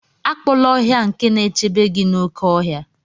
Akpọla ọhịa nke na-echebe gị n'oké ọhịa.